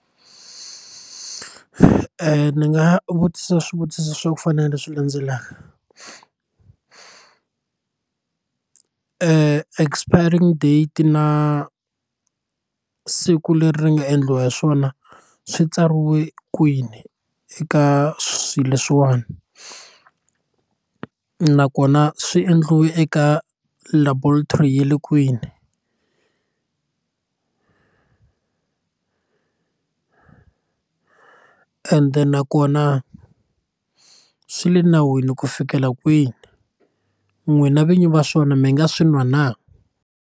Ndzi nga vutisa swivutiso swa ku fana na leswi landzelaka expiring date na siku leri ri nga endliwa hi swona swi tsariwe kwini eka swilo leswiwani nakona swi endliwe eka laboratory ya le kwini ende nakona swi le nawini ku fikela kwini n'wina vinyi va swona mi nga swi nwa na.